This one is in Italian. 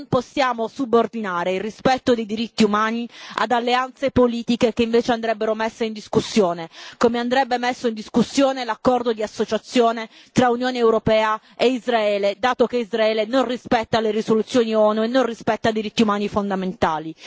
Non possiamo subordinare il rispetto dei diritti umani ad alleanze politiche che invece andrebbero messe in discussione, come andrebbe messo in discussione l'accordo di associazione tra Unione europea e Israele, dato che Israele non rispetta le risoluzioni ONU e non rispetta i diritti umani fondamentali.